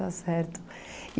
Está certo.